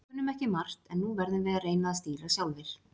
Við kunnum ekki margt en nú verðum við að reyna að stýra sjálfar.